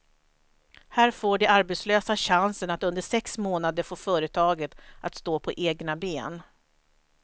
Här får de arbetslösa chansen att under sex månader få företaget att stå på egna ben.